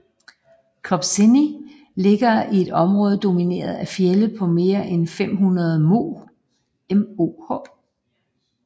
Kopsenni ligger i et område domineret af fjelde på mere end 500 moh